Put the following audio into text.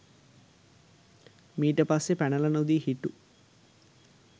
මීට පස්සේ පැනල නොදී හිටු